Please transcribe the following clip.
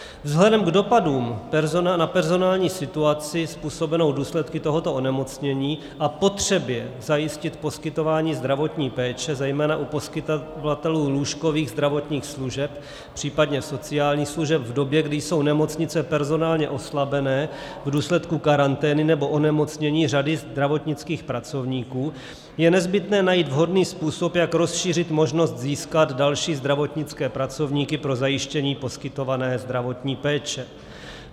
Vzhledem k dopadům na personální situaci způsobenou důsledky tohoto onemocnění a potřebě zajistit poskytování zdravotní péče zejména u poskytovatelů lůžkových zdravotních služeb, případně sociálních služeb v době, kdy jsou nemocnice personálně oslabené v důsledku karantény nebo onemocnění řady zdravotnických pracovníků, je nezbytné najít vhodný způsob, jak rozšířit možnost získat další zdravotnické pracovníky pro zajištění poskytovaného zdravotní péče.